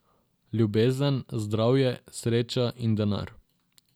Ljubezen, zdravje, sreča in denar...